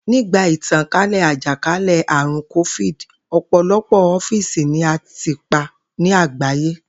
Nígbà ìtànkálè̩ àjàkálè̩-àrùn kófíìdì, ò̩pò̩lo̩pò̩ ófíìsì ni a tì pa ní àgbáyé